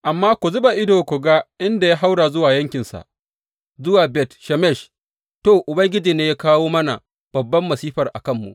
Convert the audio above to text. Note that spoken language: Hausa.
Amma ku zuba ido ku ga in ya haura zuwa yankinsa, zuwa Bet Shemesh, to, Ubangiji ne ya kawo mana babban masifar a kanmu.